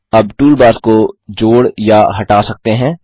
आप टूलबार्स को जोड़ या हटा सकते हैं